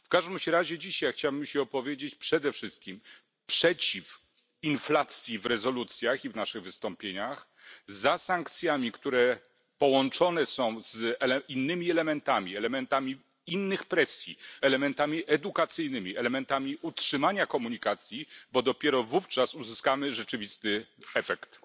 W każdym razie chciałbym się opowiedzieć przede wszystkim przeciw inflacji w rezolucjach i w naszych wystąpieniach, za sankcjami, które połączone są z innymi elementami, elementami innych presji, elementami edukacyjnymi, elementami utrzymania komunikacji, bo dopiero wówczas uzyskamy rzeczywisty efekt.